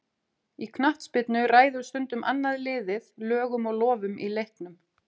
Í knattspyrnu ræður stundum annað liðið lögum og lofum í leiknum.